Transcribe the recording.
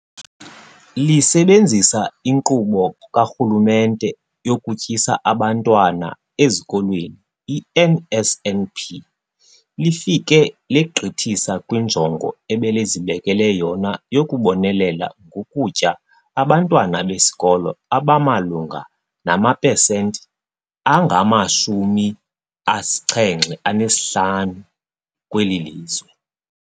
Lisebenzisa iNkqubo kaRhulumente yokuTyisa Abantwana Ezikolweni i-NSNP, lifike legqithisa kwinjongo ebelizibekele yona yokubonelela ngokutya abantwana besikolo abamalunga namapesenti angama-75 kweli lizwe.